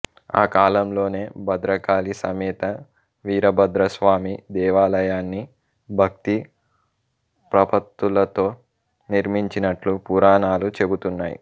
ఆ కాలంలోనే భద్రకాళి సమేత వీరభద్రస్వామి దేవాలయాన్ని భక్తి ప్రపత్తులతో నిర్మించినట్లు పురాణాలు చెబుతున్నాయి